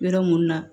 Yɔrɔ mun na